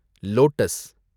lotus